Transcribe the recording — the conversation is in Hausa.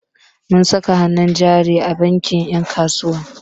Mun saka hannun jari a bankin 'yan kasuwa.